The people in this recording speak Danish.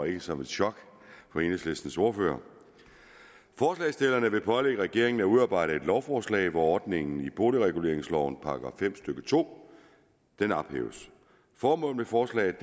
ikke som et chok for enhedslistens ordfører forslagsstillerne vil pålægge regeringen at udarbejde et lovforslag hvor ordningen i boligreguleringslovens § fem stykke to ophæves formålet med forslaget